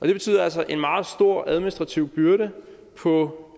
det betyder altså en meget stor administrativ byrde på